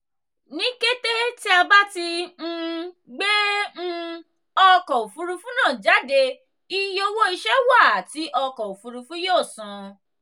ni kete ti a ba ti um gbe um ọkọ ofurufu naa jade iye owo iṣẹ wa ti ọkọ ofurufu yoo san.